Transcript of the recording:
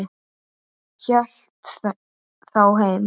Hélt þá heim.